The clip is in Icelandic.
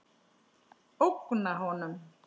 Ógna honum.